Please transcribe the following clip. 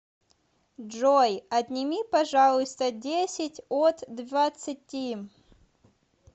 джой отнеми пожалуйста десять от двадцати